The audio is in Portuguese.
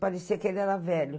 Parecia que ele era velho.